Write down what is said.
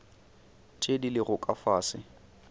tše di lego ka fase